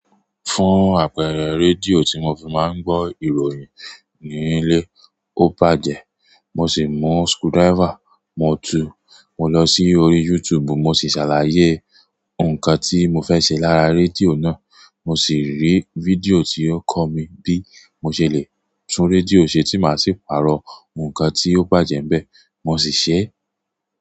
Fún àpẹẹrẹ, rédíò tí mo fi máa ń gbọ́ ìròyìn ní ilé ó bàjẹ́, mo sì mú screwdriver, mo tu, mo lọ sí orí YouTube, mo sì ṣàlàyé nǹkan tí mo fẹ́ ṣe lára rédíò náà. Mo sì rí fídíò tí ó kọ́ mi bí mo ṣe le tún rédíò ṣe tí màá sì pààrọ̀ nǹkan tí ó bàjẹ́ n bẹ́ẹ̀, mo sì ṣe é.